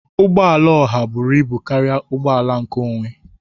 Ụgbọ ala oha buru ibu karịa ụgbọ ala nkeonwe